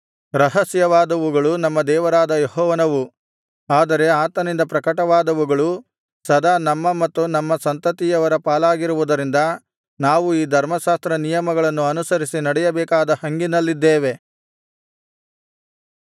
ರಹಸ್ಯವಾದವುಗಳು ನಮ್ಮ ದೇವರಾದ ಯೆಹೋವನವು ಆದರೆ ಆತನಿಂದ ಪ್ರಕಟವಾದವುಗಳು ಸದಾ ನಮ್ಮ ಮತ್ತು ನಮ್ಮ ಸಂತತಿಯವರ ಪಾಲಾಗಿರುವುದರಿಂದ ನಾವು ಈ ಧರ್ಮಶಾಸ್ತ್ರನಿಯಮಗಳನ್ನು ಅನುಸರಿಸಿ ನಡೆಯಬೇಕಾದ ಹಂಗಿನಲ್ಲಿದ್ದೇವೆ